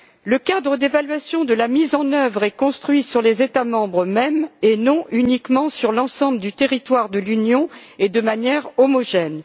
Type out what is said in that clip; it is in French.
Le cadre d'évaluation de la mise en œuvre est construit sur les États membres mêmes, et non uniquement sur l'ensemble du territoire de l'Union, et de manière homogène.